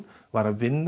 var að vinna